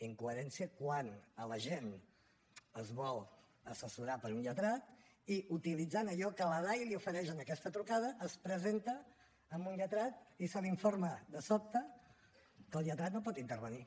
incoherència quan l’agent es vol assessorar per un lletrat i utilitzant allò que la dai li ofereix en aquesta trucada es presenta amb un lletrat i se l’informa de sobte que el lletrat no hi pot intervenir